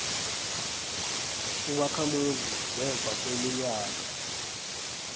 ubakhamuzi ngemva kweminyaka